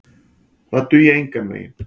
Það dugi engan veginn.